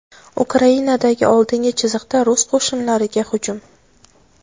Ukrainadagi oldingi chiziqda rus qo‘shinlariga hujum.